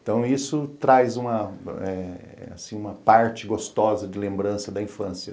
Então isso traz uma eh assim uma parte gostosa de lembrança da infância.